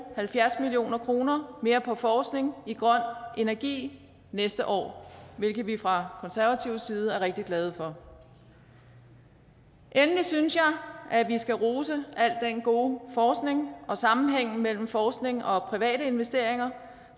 halvfjerds million kroner mere på forskning i grøn energi næste år hvilket vi fra konservatives side er rigtig glade for endelig synes jeg at vi skal rose al den gode forskning og sammenhængen mellem forskning og private investeringer